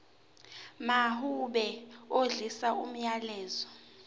mawube odlulisa umyalezo